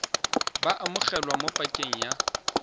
bo amogelwa mo pakeng ya